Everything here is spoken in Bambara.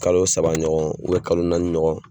Kalo saba ɲɔgɔn ubiyɛn kalo naani ɲɔgɔn